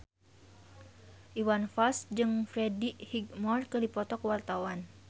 Iwan Fals jeung Freddie Highmore keur dipoto ku wartawan